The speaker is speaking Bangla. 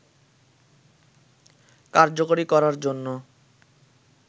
কার্যকরী করার জন্য